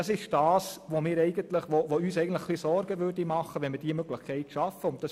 Es würde uns Sorgen bereiten, wenn wir diese Möglichkeit schaffen würden.